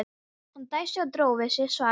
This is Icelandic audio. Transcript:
Hann dæsti og dró við sig svarið.